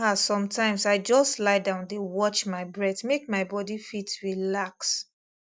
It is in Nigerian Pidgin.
ah sometimes i just lie down dey watch my breath make my body fit relax